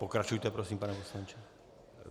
Pokračujte prosím, pane poslanče.